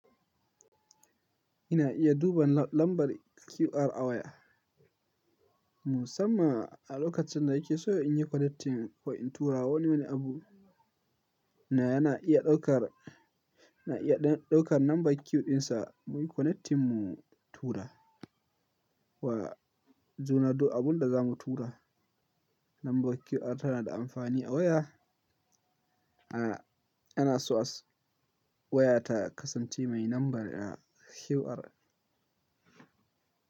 Ina iya duban lambar QR a waya. Musamman a lokacin da ike so in yi connecting ko in turawa wani wani abu na yana iya ɗaukar, na iya ɗaukar lambar QR dinsa muyi connecting mu tura wa juna duk abin da za mu tura. Lambar QR tana da amfani a waya. A, ana so waya ta kasance mai lambar QR.